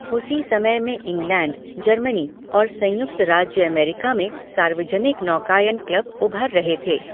उसी समय में इंग्लैंड, जर्मनी और संयुक्त राज्य अमेरिका में सार्वजनिक नौकायन क्लब उभर रहे थे।